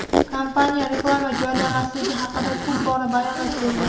Kompaniya reklama joylamasligi haqida ko‘p bora bayonot bergan.